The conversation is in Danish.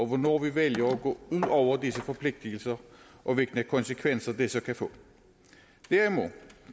hvornår vi vælger at gå ud over disse forpligtelser og hvilke konsekvenser det så kan få derimod